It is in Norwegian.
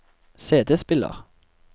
CD-spiller